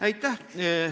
Aitäh!